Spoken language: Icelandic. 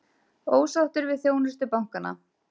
Ósáttir við þjónustu bankanna